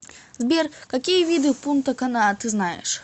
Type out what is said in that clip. сбер какие виды пунта кана ты знаешь